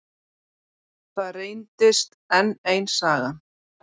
Það reyndist enn ein sagan.